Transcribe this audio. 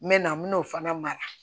N mɛna n bɛn'o fana mara